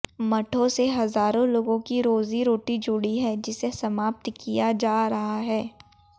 मठों से हजारों लोगों की रोजी रोटी जुड़ी है जिसे समाप्त किया जा रहा है